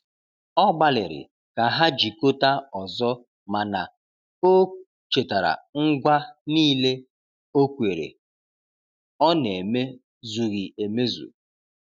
Ọ gbaliri ka ha jikota ọzọ, mana o chetara ngwa nile okwere ọ na eme zughi emezụ